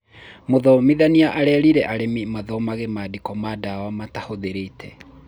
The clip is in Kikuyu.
mũthomithania arerĩire arĩmi mathomange mandĩko ma ndawa matahũthĩrite